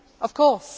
of course,